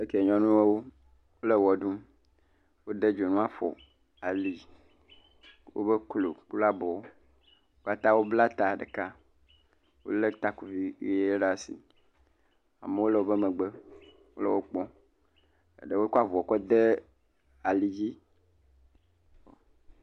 Eke nyɔnuawo le wɔ ɖum. Wode dzonu afɔ, ali, wobe klo kple abɔwo. Wo katã wobla ta ɖeka le taku ʋi ʋie ɖe asi. Amewo le woƒe megbe le wo kpɔm. Ɖewo kɔ avɔ kɔ de alidzi.